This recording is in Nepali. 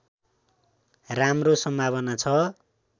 राम्रो सम्भावना छ